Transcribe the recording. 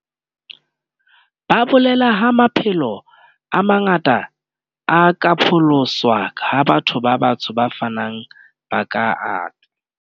Ba bolela ha maphelo a manga ta a ka pholoswa ha Batho ba Batsho ba fanang ba ka ata.